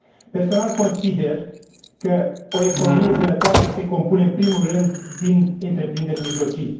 Personal, consider că o economie sănătoasă se compune în primul rând din întreprinderi mijlocii